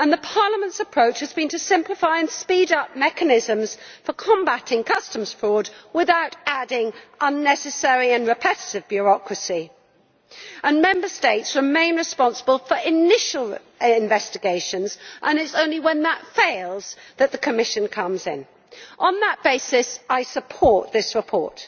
Parliament's approach has been to simplify and speed up mechanisms for combating customs fraud without adding unnecessary and repetitive bureaucracy. Member States remain responsible for initial investigations, and it is only when that fails that the Commission comes in. On that basis, I support this report.